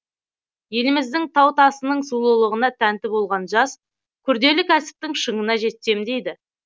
еліміздің тау тасының сұлулығына тәнті болған жас күрделі кәсіптің шыңына жетсем дейді